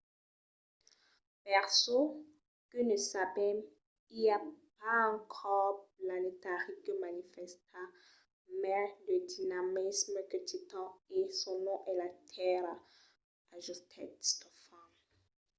per çò que ne sabèm i a pas qu’un còrs planetari que manifèsta mai de dinamisme que titan e son nom es la tèrra, ajustèt stofan